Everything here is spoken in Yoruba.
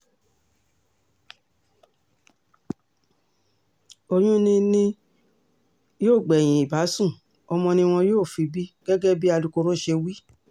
oyún ni ni yóò gbẹ̀yìn ìbásun ọmọ ni wọn yóò fi bí gẹ́gẹ́ bí alukoro ṣe wí